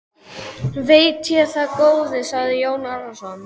Veit ég það góði, sagði Jón Arason.